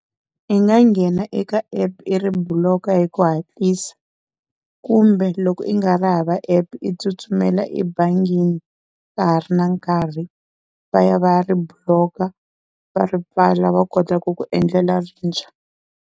I nga nghena eka app i ri block-a hi ku hatlisa, kumbe loko i nga ri hava app i tsutsumela ebangini ka ha ri na nkarhi va ya va ya ri block-a va ri pfala va kota ku ku endlela rintshwa.